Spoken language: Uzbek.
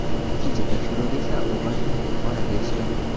Ikkinchi tekshiruvda esa o‘g‘il bola deyishgan.